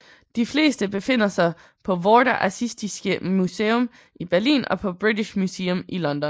De fleste befinder sig på Vorderasiatisches Museum i Berlin og på British Museum i London